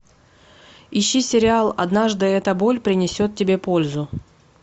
ищи сериал однажды эта боль принесет тебе пользу